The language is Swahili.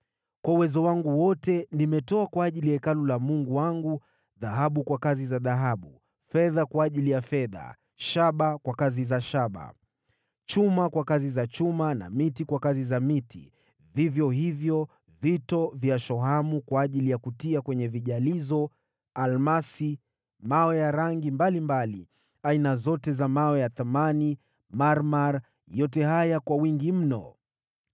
Kwa uwezo wangu wote nimetenga mali kwa ajili ya Hekalu la Mungu wangu: dhahabu kwa kazi za dhahabu, fedha kwa ajili ya fedha, shaba kwa kazi za shaba, chuma kwa kazi za chuma na miti kwa kazi za miti, vivyo hivyo vito vya shohamu kwa ajili ya kutia kwenye vijalizo, almasi, mawe ya rangi mbalimbali, aina zote za vito vya thamani na marmar; yote haya kwa wingi mno.